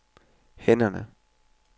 hænderne